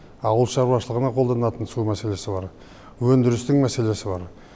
ауыл шарушылығына қолданатын су мәселесі бар өндірістің мәселесі бар